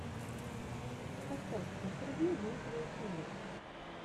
поставь интервью дмитрия кинга